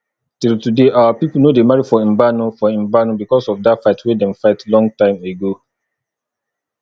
till today our people no dey marry for mbano for mbano because of that fight wey dem fight long time ago